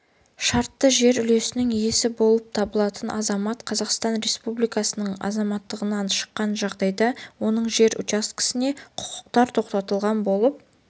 шартты жер үлесінің иесі болып табылатын азамат қазақстан республикасының азаматтығынан шыққан жағдайда оның жер үлесіне құқықтары тоқтатылған болып